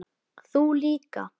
Þú líka?